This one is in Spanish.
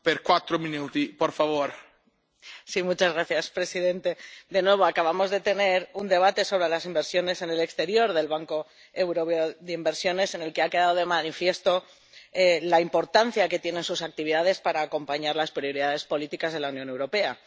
Señor presidente, de nuevo acabamos de tener un debate sobre las inversiones en el exterior del Banco Europeo de Inversiones, en el que ha quedado de manifiesto la importancia que tienen sus actividades para acompañar las prioridades políticas de la Unión Europea.